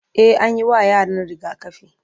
e anyi wa yaran rigakafi